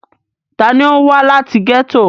ta ni ó wá láti gẹ́tò?